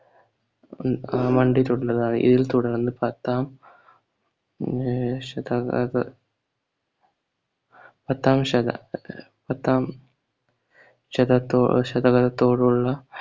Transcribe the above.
ആ മണ്ടിലുള്ളതാണ് ഇതിൽ തുടർന്ന് പത്താം ഏർ ശതക ആഹ് പത്താംശത പത്താം ശതകതൊ ശതകതോടുള്ള